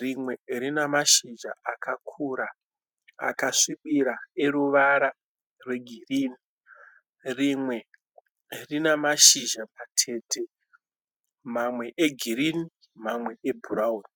Rimwe rinemashizha akakura akasvibira eruvara rwegirinhi. Rimwe rinamashizha matete, mamwe egirinhi mamwe ebhurawuni.